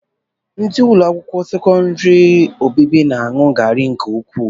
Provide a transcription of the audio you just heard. Ndị ụlọakwụkwọ sekọndịrị obibi na-aṅụ garị nke ukwuu